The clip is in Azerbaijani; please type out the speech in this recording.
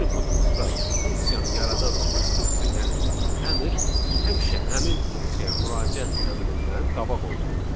Yəni kodumuzda funksiyanı yaradan instruksiya, yəni əmr həmişə həmin funksiyaya müraciət əmrindən qabaq olmalıdır.